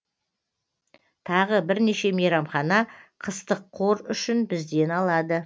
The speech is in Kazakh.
тағы бірнеше мейрамхана қыстық қор үшін бізден алады